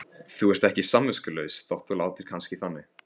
Þú ert ekki samviskulaus þótt þú látir kannski þannig.